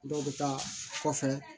Dɔw bɛ taa kɔfɛ